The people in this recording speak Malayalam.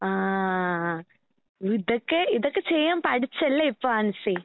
ആഹ് ഇതൊക്കെ ഇതൊക്കെ ചെയ്യാൻ പഠിച്ചല്ലേ ഇപ്പ ആൻസി.